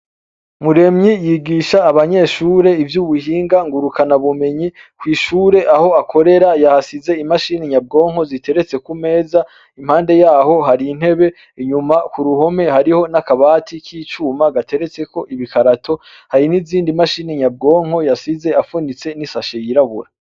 Muremyi yigisha abanyeshure ivyo ubuhinga ngurukana bumenyi kw'ishure aho akorera yahasize imashini nyabwonko ziteretse kumeza impande yaho hari intebe inyuma ku ruhome hariho n'akabati k'icuma gateretseko ibikarato hari n'izindi mashini nyabwonko yasize apfunitse n'isashe yirabuwa.